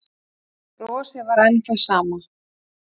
Brosið var enn það sama.